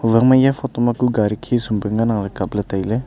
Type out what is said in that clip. owang eya photo ma ku gari khisum pe ngan ang kapley tailey.